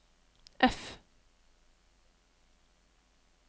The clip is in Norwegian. F